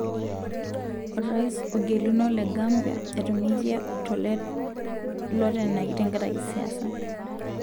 Orais ogeluno le Gambia etunguikia lotenaki tenkaraki siasa.